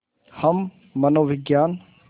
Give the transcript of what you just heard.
हम मनोविज्ञान